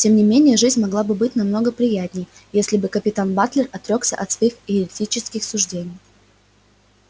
тем не менее жизнь могла бы быть много приятнее если бы капитан батлер отрёкся от своих еретических суждений